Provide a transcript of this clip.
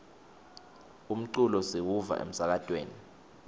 umculo siwuva emsakatweni